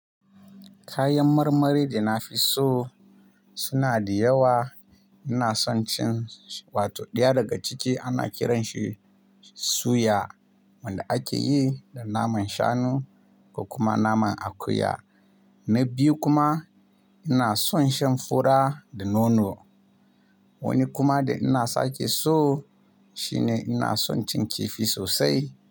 Kayan marmari da nafi so suna da yawa. Ina son cin, wato ɗaya daga ciki ana kiranshi suya wanda ake yi da naman shanu da kuma naman akuya. Na biyu kuma ina son shan fura da nono. Wani kuma da ina sake so shine ina son cin kifi sosai.